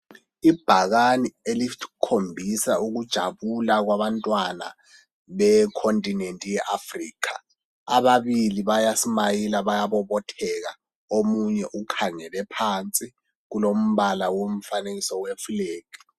Ibhakane elikhombisa ujabula kwabantwana Ekhotinenti ye Africa . Ababili bayasimayila bayabobotheka omunye ukhangele phansi kulombala womfanekiso yefulegi.